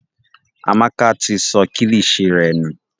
Amaka ti sọ kilishi rẹ nù.